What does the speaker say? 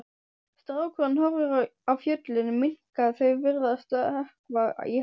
Strákurinn horfir á fjöllin minnka, þau virðast sökkva í hafið.